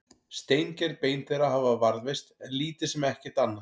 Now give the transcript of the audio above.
Steingerð bein þeirra hafa varðveist en lítið sem ekkert annað.